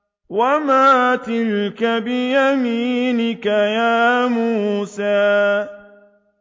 وَمَا تِلْكَ بِيَمِينِكَ يَا مُوسَىٰ